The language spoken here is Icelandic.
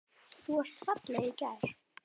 Þú varst falleg í gær.